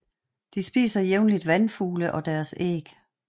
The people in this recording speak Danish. De spiser jævnligt vandfugle og deres æg